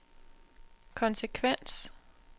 konsekvens